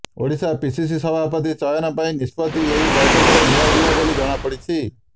Odisha PCC ସଭାପତି ଚୟନ ପାଇଁ ନିଷ୍ପତ୍ତି ଏହି ବୈଠକରେ ନିଆଯିବ ବୋଲି ଜଣାପଡିଛି